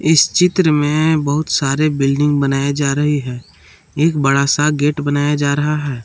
इस चित्र में बहुत सारे बिल्डिंग बनाई जा रहे हैं एक बड़ा सा गेट बनाया जा रहा है।